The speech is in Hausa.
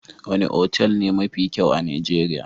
Wane otal ne mafi kyau a Nijeriya?